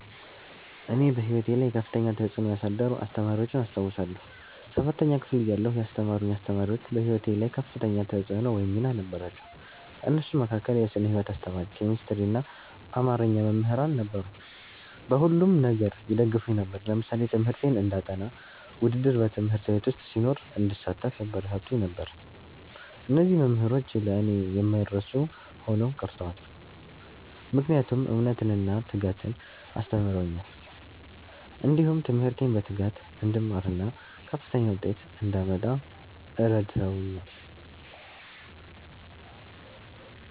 እኔ በሕይወቴ ላይ ከፍተኛ ተጽዕኖ ያሳደሩ አስተማሪዎችን አስታውሳለሁ። ሠባተኛ ክፍል እያለሁ ያስተማሩኝ አስተማሪዎች በህይወቴ ላይ ከፍተኛ ተፅዕኖ ወይም ሚና ነበራቸው። ከእነሱም መካከል የስነ ህይወት አስተማሪ፣ ኬሚስትሪና አማርኛ መምህራን ነበሩ። በሁሉም ነገር ይደግፉኝ ነበር። ለምሳሌ ትምህርቴን እንዳጠ፤ ውድድር በ ት/ቤት ዉስጥ ሲኖር እንድሳተፍ ያበረታቱኝ ነበር። እነዚህ መምህሮች ለእኔ የማይረሱ ሆነው ቀርተዋል። ምክንያቱም እምነትን እና ትጋትን አስተምረውኛል። እንዲሁም ትምህርቴን በትጋት እንድማርና ከፍተኛ ዉጤት እንዳመጣ እረድተውኛል።